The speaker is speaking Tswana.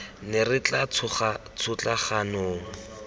ne ra tšhotla kgang mong